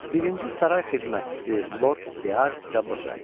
Birinci saray xidmətçisi Lord Dearsidə burda idi.